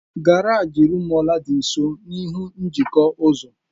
Garaji Rumuọla dị nso n'ihu njikọ ụzọ.